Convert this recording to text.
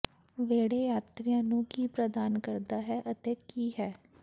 ਵਿਹੜੇ ਯਾਤਰੀਆਂ ਨੂੰ ਕੀ ਪ੍ਰਦਾਨ ਕਰਦਾ ਹੈ ਅਤੇ ਕੀ ਹੈ